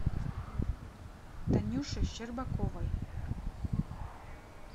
танюше щербаковой